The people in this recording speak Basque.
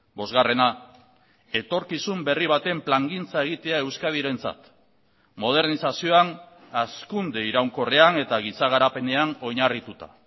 bosgarrena etorkizun berri baten plangintza egitea euskadirentzat modernizazioan hazkunde iraunkorrean eta giza garapenean oinarrituta